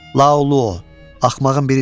Laulu, axmağın birisən!